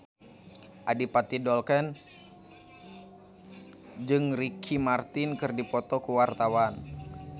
Adipati Dolken jeung Ricky Martin keur dipoto ku wartawan